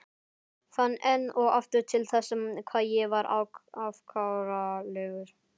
Fann enn og aftur til þess hvað ég var afkáralegur.